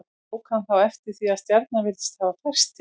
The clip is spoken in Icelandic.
Tók hann þá eftir því að stjarnan virtist hafa færst til.